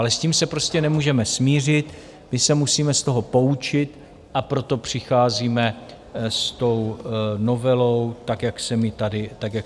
Ale s tím se prostě nemůžeme smířit, my se musíme z toho poučit, a proto přicházíme s tou novelou tak, jak jsem ji tady popsal.